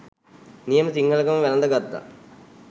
නියම සිංහලකම වැළඳ ගත්තා..